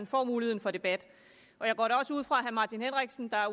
får muligheden for debat og jeg går da også ud fra at herre martin henriksen der er